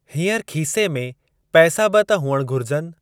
हीअंर खीसे में पैसा बि त हुअण घुरिजनि।